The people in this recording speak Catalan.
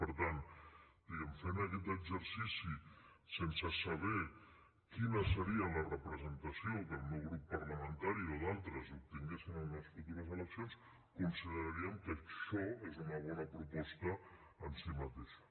per tant diguem ne fent aquest exercici sense saber quina seria la representació que el meu grup parlamentari o d’altres obtinguessin en unes futures eleccions consideraríem que això és una bona proposta en si mateixa